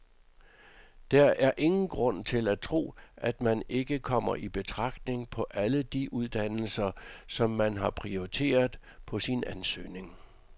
Der er ingen grund til at tro, at man ikke kommer i betragtning på alle de uddannelser, som man har prioriteret på sin ansøgning.